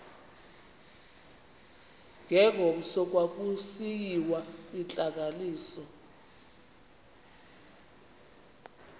ngengomso kwakusiyiwa kwintlanganiso